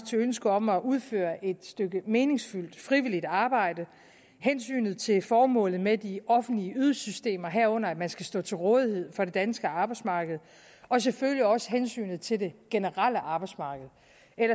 til ønsket om at udføre et stykke meningsfyldt frivilligt arbejde hensynet til formålet med de offentlige ydelsessystemer herunder at man skal stå til rådighed for det danske arbejdsmarked og selvfølgelig også hensynet til det generelle arbejdsmarked